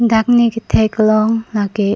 dak ne kethek long la ke.